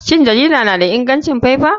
Shin jarida na da ingancin faifa?